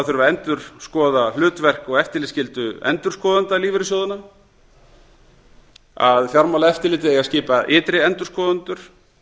þurfi að endurskoða hlutverk og eftirlitsskyldu endurskoðenda lífeyrissjóðanna að fjármálaeftirlitið eigi að skipa ytri endurskoðendur